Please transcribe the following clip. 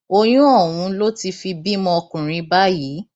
oyún ọhún ló ti fi bímọ ọkùnrin báyìí